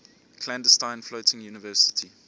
clandestine floating university